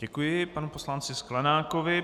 Děkuji panu poslanci Sklenákovi.